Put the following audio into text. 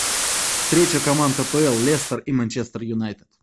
встреча команд апл лестер и манчестер юнайтед